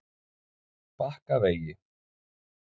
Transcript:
Bakkavegi